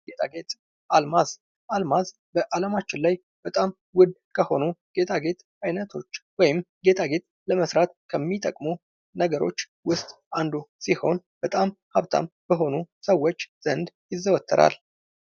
ጌጣጌጥ ፤ አልማዝ፤ አልማዝ አለማችን ላይ በጣም ውድ ከሆኑ ጌጣጌጥ አይነቶች ወይም ጌጣጌጥ ለመስራት ከሚጠቅሙ ነገሮች ውስጥ አንዱ ሲሆን በጣም ሃብታም በሆኑ ሰዎች ዘንድ ይዘወተራል።